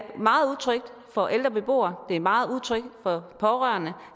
meget utrygt for ældre beboere det er meget utrygt for pårørende